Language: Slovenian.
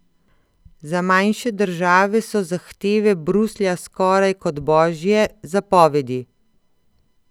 Za manjše države so zahteve Bruslja skoraj kot božje zapovedi.